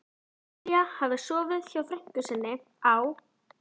Lilla hafði sofið hjá frænku sinni á